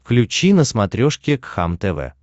включи на смотрешке кхлм тв